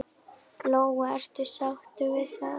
Lóa: Ertu sáttur við það?